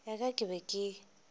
ya ka ke be ke